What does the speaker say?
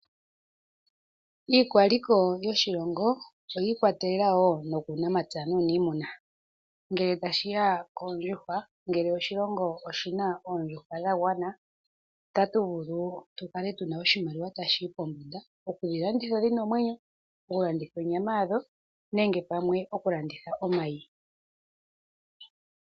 Iikwaliko yoshilongo oyiikwatelela woo no kuunamapya nuuniimuna ngele tashiya wo koondjuhwa, ngele oshilongo oshina oondjuhwa dhagwana, ota tuvulu tu kale tuna oshimaliwa ta shi yi pombanda, okudhilanditha dhina omwenyo, okulanditha onyama yadho nenge okulanitha omayi.